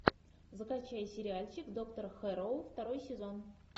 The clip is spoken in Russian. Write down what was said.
закачай сериальчик доктор хэрроу второй сезон